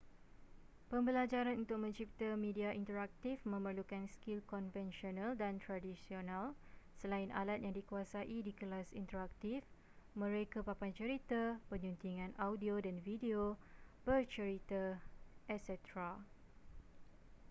pembelajaran untuk mencipta media interaktif memerlukan skil konvensional dan tradisional selain alat yang dikuasai di kelas interaktif mereka papan cerita penyuntingan audio dan video bercerita etc.